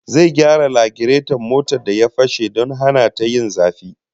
Zai gyara lagireton motar da ya fashe don hana ta yin zafi